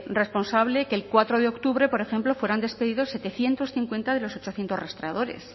responsable que el cuatro de octubre por ejemplo fueran despedidos setecientos cincuenta de los ochocientos rastreadores